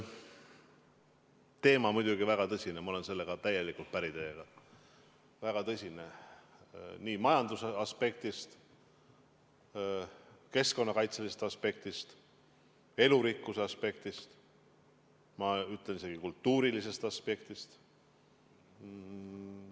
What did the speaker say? Teema on muidugi väga tõsine, ma olen selles teiega täielikult päri – väga tõsine nii majanduse aspektist, keskkonnakaitselisest aspektist, elurikkuse aspektist, ma ütlen, et isegi kultuurilisest aspektist.